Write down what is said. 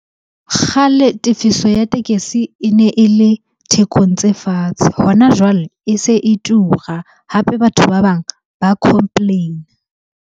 Kgale tefiso ya tekesi e ne e le thekong tse fatshe. Hona jwale e se e tura, hape batho ba bang ba complain-a.